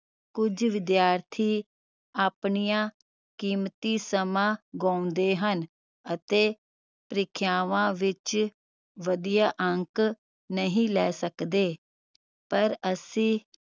ਕੁਝ ਵਿਦਿਆਰਥੀ ਆਪਣੀਆਂ ਕੀਮਤੀ ਸਮਾਂ ਗੁਵਾਉਂਦੇ ਹਨ ਅਤੇ ਪ੍ਰੀਖਿਆਵਾਂ ਵਿਚ ਵਧੀਆ ਅੰਕ ਨਹੀਂ ਲੈ ਸਕਦੇ ਪਰ ਅਸੀ